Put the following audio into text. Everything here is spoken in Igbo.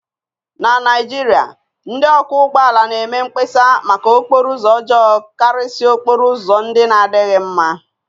na Naijiria, ndị ọkwọ ụgbọala na-eme mkpesa maka okporo ụzọ ọjọọ karịsịa okporo ụzọ ndị na-adịghị mm